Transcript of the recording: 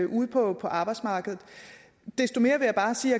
ude på arbejdsmarkedet desto mere